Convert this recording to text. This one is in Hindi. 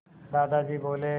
दादाजी बोले